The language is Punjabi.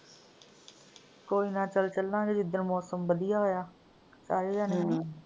ਕੋਈ ਨਾ ਚਲ ਚੱਲਾਂਗੇ ਜਿੱਦਣ ਮੌਸਮ ਬਦਿਆ ਹੋਇਆ। ਸਾਰੇ ਜਾਣੇ ਹਨਾ।